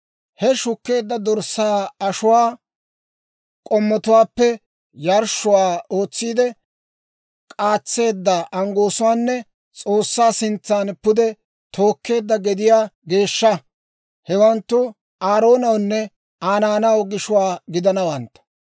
«He shukkeedda dorssaa ashuwaa k'ommotuwaappe, yarshshuwaa ootsiide k'aatseedda anggoosuwaanne S'oossaa sintsan pude tookkeedda gediyaa geeshsha; hewanttu Aaroonawunne Aa naanaw gishuwaa gidanawantta.